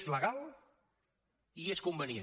és legal i és convenient